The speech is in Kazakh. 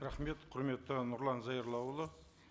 рахмет құрметті нұрлан зайроллаұлы